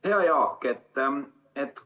Hea Jaak!